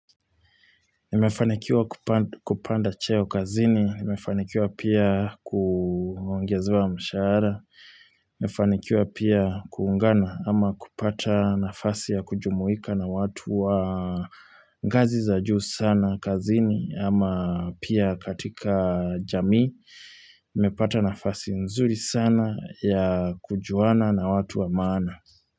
Nimefanikiwa kupanda cheo kazini, nimefanikiwa pia kuongezewa mshahara, nimefanikiwa pia kuungana ama kupata nafasi ya kujumuika na watu wa ngazi za juu sana kazini ama pia katika jamii, nimepata nafasi nzuri sana ya kujuana na watu wa maana.